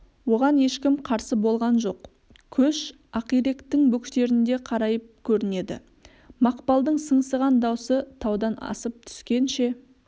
оған ешкім қарсы болған жоқ көш ақиректің бөктерінде қарайып көрінеді мақпалдың сыңсыған даусы таудан асып түскенше